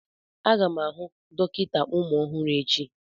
Aga m ahụ dọkịta ụmụ ọhụrụ echi.